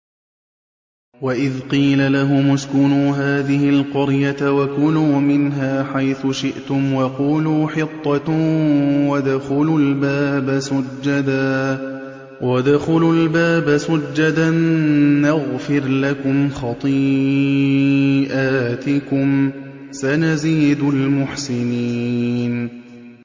وَإِذْ قِيلَ لَهُمُ اسْكُنُوا هَٰذِهِ الْقَرْيَةَ وَكُلُوا مِنْهَا حَيْثُ شِئْتُمْ وَقُولُوا حِطَّةٌ وَادْخُلُوا الْبَابَ سُجَّدًا نَّغْفِرْ لَكُمْ خَطِيئَاتِكُمْ ۚ سَنَزِيدُ الْمُحْسِنِينَ